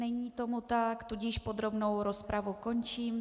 Není tomu tak, tudíž podrobnou rozpravu končím.